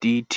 dtic.